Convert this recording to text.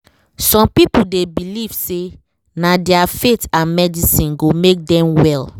some people dey belief say na their faith and medicine go make dem well